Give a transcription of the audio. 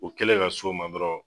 U kɛlen ka so ma dɔrɔn.